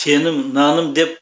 сенім наным деп